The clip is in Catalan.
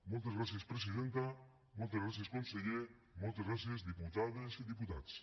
moltes gràcies presidenta moltes gràcies conseller moltes gràcies diputades i diputats